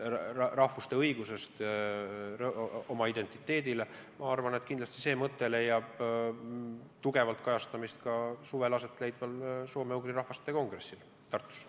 Rahvuste õigus oma identiteedile leiab kindlasti tugevalt kajastamist ka suvel asetleidval soome-ugri rahvaste kongressil Tartus.